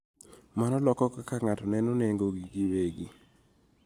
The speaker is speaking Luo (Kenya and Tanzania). Mano loko kaka ng�ato neno nengogi giwegi.